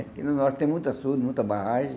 Porque no Norte tem muito açude, muita barragem.